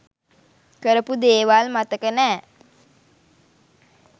කරපු දේවල් මතක නෑ.